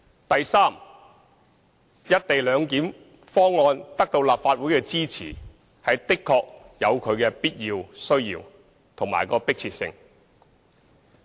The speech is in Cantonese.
第三，"一地兩檢"方案得到立法會支持，確實有其必要、需要及迫切性。